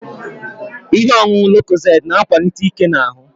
Ihe ọṅụṅụ lokozed na akwalite ike n'ahu